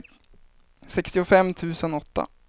sextiofem tusen åtta